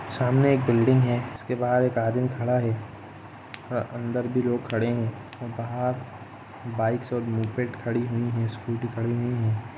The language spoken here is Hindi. सामने एक बिल्डिंग है जिसके बाहर एक आदमी खड़ा है और अंदर भी लोग खड़े है और बाहर बाइक्स और खड़ी हुई है स्कूटी खड़ी हुई है।